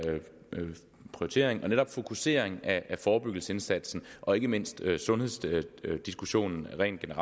prioritering og netop fokusering af forebyggelsesindsatsen og ikke mindst af sundhedsdiskussionen rent